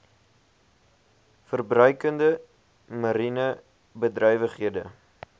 verbruikende mariene bedrywighede